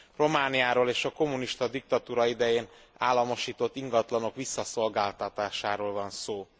Romániáról és a kommunista diktatúra idején államosított ingatlanok visszaszolgáltatásáról van szó.